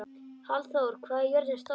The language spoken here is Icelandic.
Hallþór, hvað er jörðin stór?